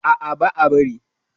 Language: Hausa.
A'a, ba a bari.